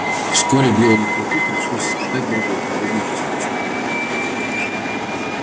вскоре белому клыку пришлось испытать другой подобный же случай